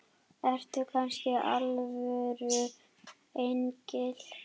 Ertu kannski alvöru engill?